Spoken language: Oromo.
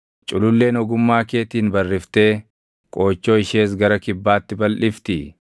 “Cululleen ogummaa keetiin barriftee qoochoo ishees gara kibbaatti balʼiftii?